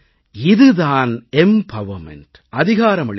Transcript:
இது தான் எம்பவர்மென்ட் அதிகாரமளிப்பு